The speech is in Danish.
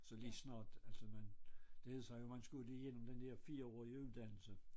Så lige snart altså man det jeg sagde man skulle jo lige ind om den der 4-årige uddannelse